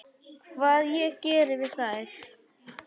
Hvað ég geri við þær?